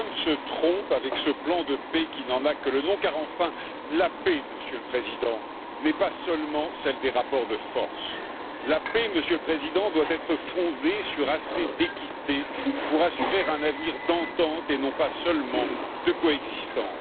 Trump se trompe avec ce plan de paix qui n'en a que le nom, car enfin la paix, Monsieur le Président, n'est pas seulement celle des rapports de force. La paix, Monsieur le Président, doit être fondée sur assez d'équité pour assurer un avenir d'entente et non pas seulement de coexistence.